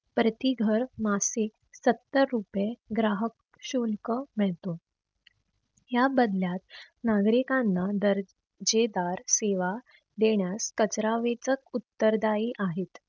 प्रति घर मासिक सत्तर रुपये ग्राहक शुल्क मिळतो. या बदल्यात नागरिकांना दर जेदार सेवा देण्यास कचरा वेचक उत्तर दाई आहेत.